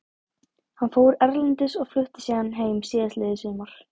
Hann fór erlendis og flutti síðan heim síðastliðið sumar.